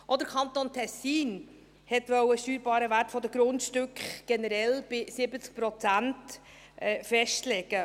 Auch der Kanton Tessin wollte den steuerbaren Wert von Grundstücken generell bei 70 Prozent festlegen.